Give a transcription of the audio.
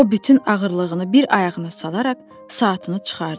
O bütün ağırlığını bir ayağına salaraq saatını çıxardı.